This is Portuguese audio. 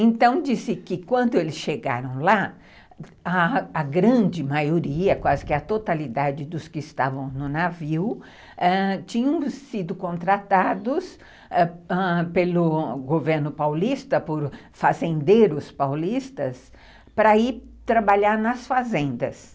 Então, disse que quando eles chegaram lá, a grande maioria, quase que a totalidade dos que estavam no navio, tinham sido contratados ãh ãh pelo governo paulista, por fazendeiros paulistas, para ir trabalhar nas fazendas.